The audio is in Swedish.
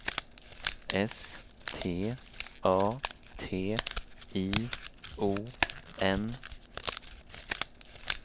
S T A T I O N